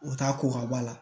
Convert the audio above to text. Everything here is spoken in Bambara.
U t'a ko ka bɔ a la